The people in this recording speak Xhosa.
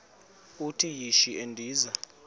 uthi yishi endiza